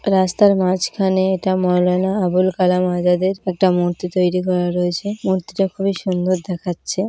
রাস্তার মাঝখানে এটা মাওলানা আবুল কালাম আজাদ এর একটা মূর্তি তৈরি করা রয়েছে। মূর্তিটা খুবই সুন্দর দেখাচ্ছে।